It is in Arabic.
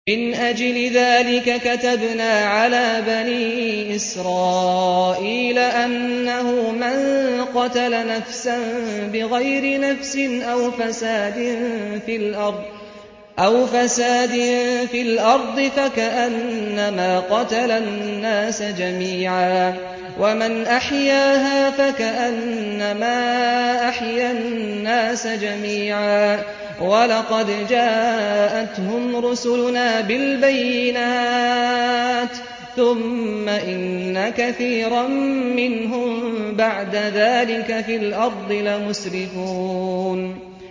مِنْ أَجْلِ ذَٰلِكَ كَتَبْنَا عَلَىٰ بَنِي إِسْرَائِيلَ أَنَّهُ مَن قَتَلَ نَفْسًا بِغَيْرِ نَفْسٍ أَوْ فَسَادٍ فِي الْأَرْضِ فَكَأَنَّمَا قَتَلَ النَّاسَ جَمِيعًا وَمَنْ أَحْيَاهَا فَكَأَنَّمَا أَحْيَا النَّاسَ جَمِيعًا ۚ وَلَقَدْ جَاءَتْهُمْ رُسُلُنَا بِالْبَيِّنَاتِ ثُمَّ إِنَّ كَثِيرًا مِّنْهُم بَعْدَ ذَٰلِكَ فِي الْأَرْضِ لَمُسْرِفُونَ